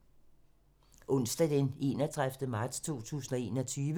Onsdag d. 31. marts 2021